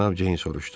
Cənab Ceyn soruşdu.